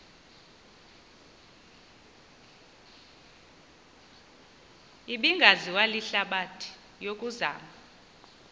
ebingaziwa lihlabathi yokuzama